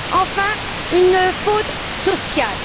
Enfin, une faute sociale.